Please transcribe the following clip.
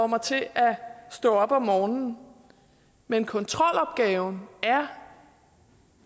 mig til at stå op om morgenen men kontrolopgaven er